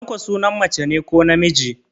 Tanko sunan mace ne ko namiji?